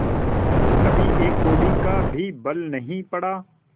कभी एक कौड़ी का भी बल नहीं पड़ा